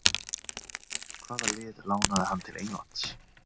Hvaða lið lánaði hann til Englands?